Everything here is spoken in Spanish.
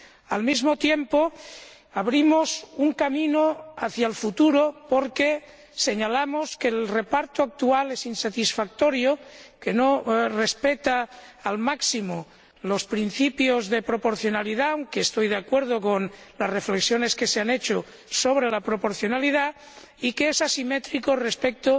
Al mismo tiempo, abrimos un camino hacia el futuro, porque señalamos que el reparto actual es insatisfactorio, que no respeta al máximo los principios de proporcionalidad —aunque estoy de acuerdo con las reflexiones que se han hecho sobre la proporcionalidad— y que es asimétrico respecto